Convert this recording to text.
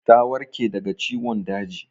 Ta warke daga ciwon daji?